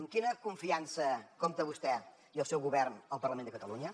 amb quina confiança compta vostè i el seu govern al parlament de catalunya